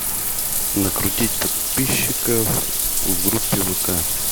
накрутить подписчиков в группе вк